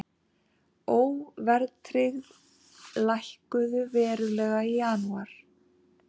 Óverðtryggð lækkuðu verulega í janúar